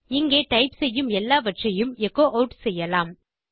இங்கே டைப் செய்யும் எல்லாவறையும் எச்சோ ஆட் செய்யலாம்